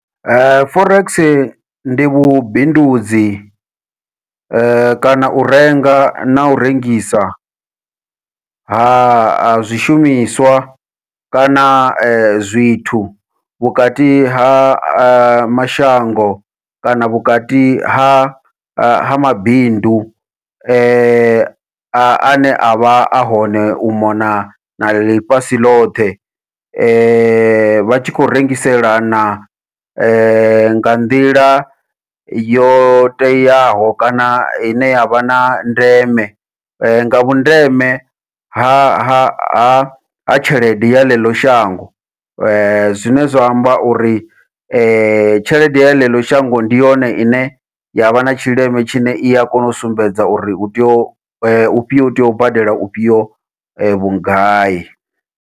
Forex ndi vhubindudzi kana u renga nau rengisa ha a zwishumiswa kana zwithu vhukati ha mashango kana vhukati ha ha mabindu, ane avha a hone u mona na ḽifhasi ḽothe vha tshi khou rengisela na nga nḓila yo teaho kana ine yavha na ndeme nga vhundeme ha ha ha ha tshelede ya ḽeḽo shango, zwine zwa amba uri tshelede ya ḽeḽo shango ndi yone ine yavha na tshileme tshine ia kona u sumbedza uri u tea u u u tea u badela ufhio vhugai.